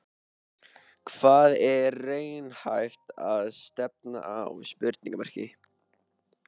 Hvað er raunhæft að stefna á?